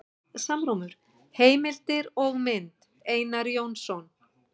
Heimildir og mynd: Einar Jónsson.